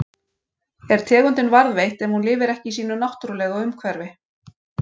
Er tegundin varðveitt ef hún lifir ekki í sínu náttúrulega umhverfi?